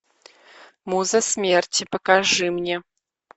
муза смерти покажи мне